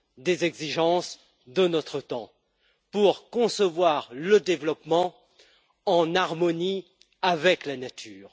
des exigences de notre temps pour concevoir le développement en harmonie avec la nature.